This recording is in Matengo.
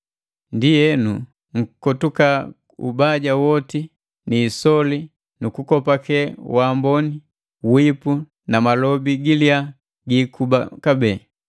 Ndienu, nkotuka ubaja woti, ni isoli nu kukopake waamboni, wipu na malobi giliya giikuba kabee.